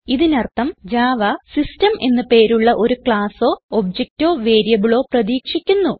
ഇതിനർത്ഥം Java system എന്ന് പേരുള്ള ഒരു ക്ളാസോ objectഓ വേരിയബിളോ വേരിയബിളോ പ്രതീക്ഷിക്കുന്നു